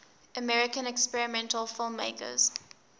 american experimental filmmakers